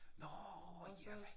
Nå ja!